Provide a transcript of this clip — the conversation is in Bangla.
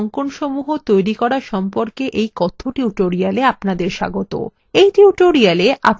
libreoffice draw এ সহজ অঙ্কনসমূহ তৈরী করা সম্পর্কে এই কথ্য tutorialএ আপনাদের স্বাগত